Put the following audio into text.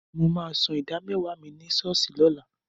Mo máa ṣan ìdá mẹ́wàá mi ní ṣọ́ọ̀ṣì lọ́la.